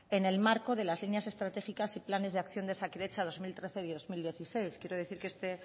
en el marco de las líneas estratégicas y planes de acción de osakidetza dos mil trece dos mil dieciséis quiero decir que este